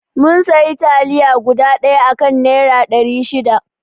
Mun sayi taliya guda ɗaya a kan naira ɗari shida